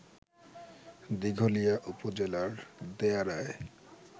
দিঘলিয়া উপজেলার দেয়াড়ায়